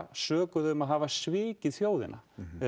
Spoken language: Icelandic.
sökuð um að hafa svikið þjóðina